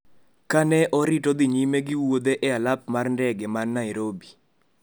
ka ne orito dhi nyime gi wuodhe e alap mar ndege man Nairobi.